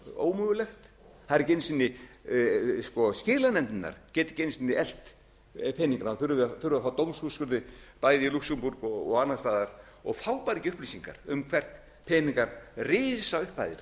ómögulegt það er ekki einu sinni skilanefndirnar geta ekki einu sinni elt peningana þurfa að fá dómsúrskurði bæði í lúxemborg og annars staðar og fá bara ekki upplýsingar um hvert peningar risaupphæðir